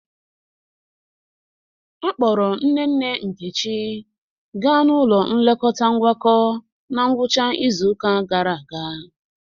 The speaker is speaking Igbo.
Akpọrọ nne nne Nkechi gaa n'ụlọ nlekọta Ngwakọ na ngwụcha izu ụka gara aga.